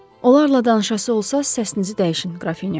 Onlarla danışası olsaız səsinizi dəyişin, Qrafinya.